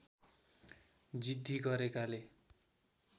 जिद्दी गरेकाले